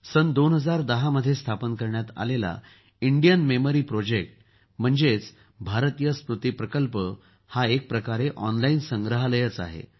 सन २०१० मध्ये स्थापन करण्यात आलेल्या इंडियन मेमरी प्रोजेक्ट म्हणजे भारतीय स्मृती प्रकल्प म्हणजे एक प्रकारचं ऑनलाईन संग्रहालय आहे